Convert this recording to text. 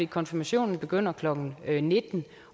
konfirmationen begyndte klokken nitten